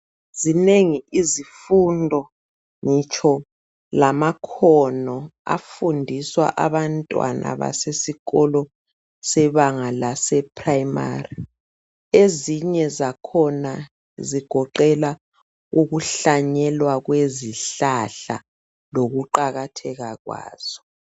Zinengi izifundo ngitsho lamakhono afundiswa abantwana basesikolo sebanga laseprimary ezinye zakhona zigoqelwa ukuhlanyelwa kwezihlahla lokuqakatheka kwazo.